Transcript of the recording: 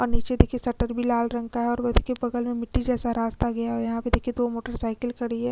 और नीचे देखिए शटर भी लाल रंग का है और वो देखिए बगल में मिट्टी जैसा रास्ता गया है और यहाँ पे देखिए दो मोटर साइकल खड़ी हैं।